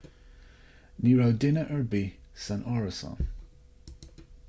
ní raibh duine ar bith san árasán